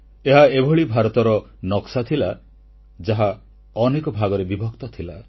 ଏହା ଏଭଳି ଭାରତର ନକ୍ସା ଥିଲା ଯାହା ଅନେକ ଭାଗରେ ବିଭକ୍ତ ଥିଲା